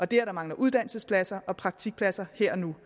det at der mangler uddannelsespladser og praktikpladser her og nu